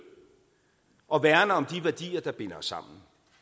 og som værner om de værdier der binder os sammen